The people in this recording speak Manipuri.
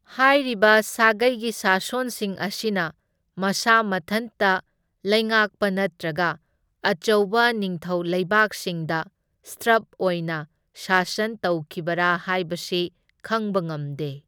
ꯍꯥꯏꯔꯤꯕ ꯁꯥꯒꯩꯒꯤ ꯁꯥꯁꯣꯟꯁꯤꯡ ꯑꯁꯤꯅ ꯃꯁꯥ ꯃꯊꯟꯇ ꯂꯩꯉꯥꯛꯄ ꯅꯠꯇ꯭ꯔꯒ ꯑꯆꯧꯕ ꯅꯤꯡꯊꯧ ꯂꯩꯕꯥꯛꯁꯤꯡꯗ ꯁꯇ꯭ꯔꯞ ꯑꯣꯏꯅ ꯁꯥꯁꯟ ꯇꯧꯈꯤꯕꯔꯥ ꯍꯥꯏꯕꯁꯤ ꯈꯪꯕ ꯉꯝꯗꯦ꯫